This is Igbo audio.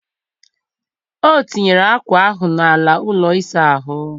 O tinyere akwa ahụ n'ala ụlọ ịsa ahụ.